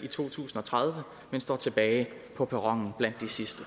i to tusind og tredive men står tilbage på perronen blandt de sidste